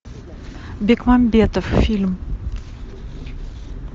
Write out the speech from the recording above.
бекмамбетов фильм